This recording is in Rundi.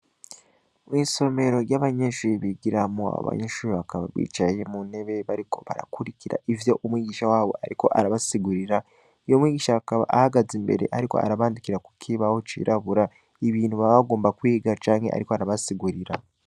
Mw,isomero ry,abanyeshure bigiramwo abanyeshure bakaba bicaye muntebe bariko barakurikira ivyo umwigisha wabo ariko arabasigurira umwigisha akaba ahagaze imbere yandika kuk, ibaho cirabura ibintu baba bagomba kwiga canke ariko arabasigurira